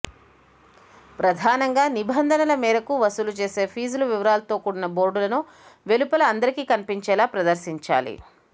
ప్రధానంగా నిబంధనల మేరకు వసూలుచేసే ఫీజుల వివరాలతో కూడిన బోర్డులను వెలుపల అందరికీ కన్పించేలా ప్రదర్శించాలి